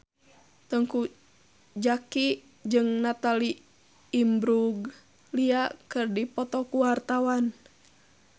Teuku Zacky jeung Natalie Imbruglia keur dipoto ku wartawan